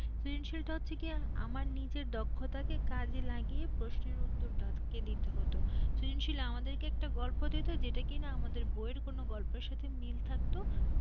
সৃজনশীল টা হচ্ছে গিয়ে আমার নিজের দক্ষতা কে কাজে লাগিয়ে প্রশ্নের উত্তরটা তাকে দিতে হত সৃজনশীল আমাদের কে একটা গল্প দিত যেটা কিনা আমাদের বই এর কোন গল্পের সাথে মিল থাকতো